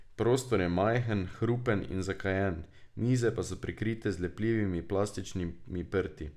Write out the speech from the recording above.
Prostor je majhen, hrupen in zakajen, mize pa so prekrite z lepljivimi plastičnimi prti.